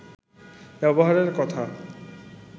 ব্যবহারের কথা